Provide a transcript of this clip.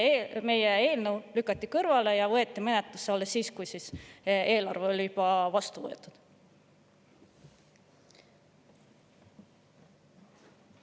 Meie eelnõu lükati kõrvale ja võeti menetlusse alles siis, kui eelarve oli juba vastu võetud.